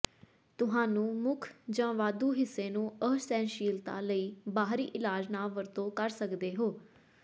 ਤੁਹਾਨੂੰ ਮੁੱਖ ਜ ਵਾਧੂ ਹਿੱਸੇ ਨੂੰ ਅਸਹਿਣਸ਼ੀਲਤਾ ਲਈ ਬਾਹਰੀ ਇਲਾਜ ਨਾ ਵਰਤੋ ਕਰ ਸਕਦੇ ਹੋ